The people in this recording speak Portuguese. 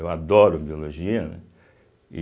Eu adoro Biologia, né e.